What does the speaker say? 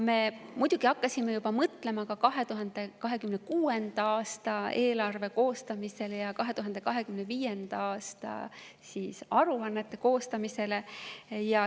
Me muidugi hakkasime mõtlema ka 2026. aasta eelarve koostamisele ja 2025. aasta aruannete koostamisele.